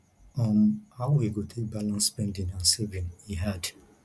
um how we go take balance spending and saving e hard